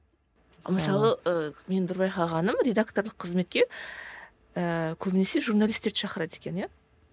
мысалы ы менің бір байқағаным редакторлық қызметке ііі көбінесе журналистерді шақырады екен иә